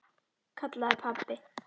kallaði pabbi.